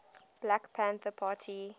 black panther party